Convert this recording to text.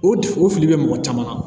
O o fili bɛ mɔgɔ caman na